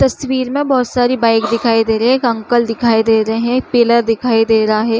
तस्वीर में बहुत सरे बाइक दिखाई दे रही है एक अंकल दिखाई दे रहे है एक पिलर दिखाई दे रहे है।